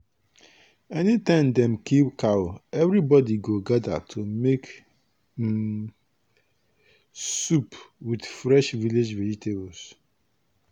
anytime dem kill cow everybody go gather to make um soup with fresh village vegetables.